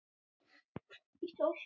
Mamma hafði átt mig alla.